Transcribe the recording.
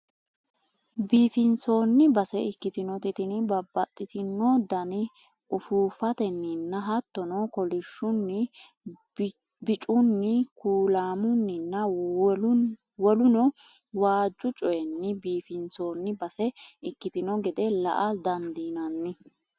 biifinsoonni base ikkitinoti tini babbaxitino dani ufuuffatenninna hattono kolishshunni, bicunni kuulaamunninna woluno waajju coyiinni biifinsoonni base ikkitino gede la''a dandiinanni.